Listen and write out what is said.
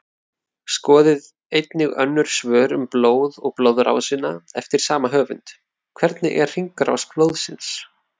Skoðið einnig önnur svör um blóð og blóðrásina eftir sama höfund: Hvernig er hringrás blóðsins?